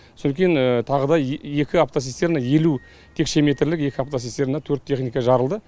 содан кейін тағы да екі автоцистерна елу текше метрлік екі автоцистерна төрт техника жарылды